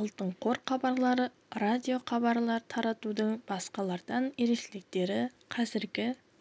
алтын қор хабарлары радиохабар таратудың басқа тардан ерекшеліктері қазіргі